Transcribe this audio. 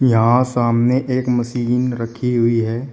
यहां सामने एक मशीन रखी हुई है।